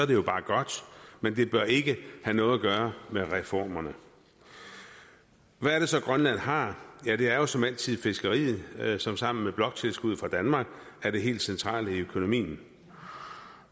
det jo bare godt men det bør ikke have noget at gøre med reformerne hvad er det så grønland har ja det er jo som altid fiskeriet som sammen med bloktilskuddet fra danmark er det helt centrale i økonomien